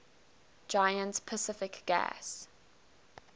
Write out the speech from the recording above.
giant pacific gas